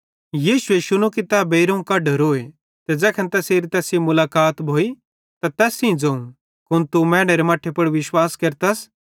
यीशुए शुनू कि तै बेइरोवं कड्डोरोए ते ज़ैखन तैसेरी तैस सेइं मुलाकात भोइ त तैस सेइं ज़ोवं कुन तू मैनेरे मट्ठे पुड़ विश्वास केरतस